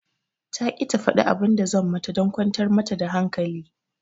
Taƙi ta faɗi abin da zan mata dan kwantar mata da hankali